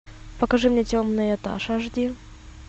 покажи мне темный этаж аш ди